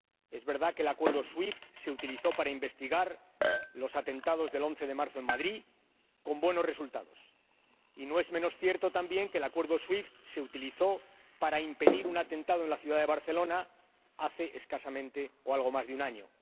Es verdad que el Acuerdo SWIFT se utilizó para investigar los atentados del 11 de marzo en Madrid, con buenos resultados. Y no es menos cierto, también, que el Acuerdo SWIFT se utilizó para impedir un atentado en la ciudad de Barcelona hace algo más de un año.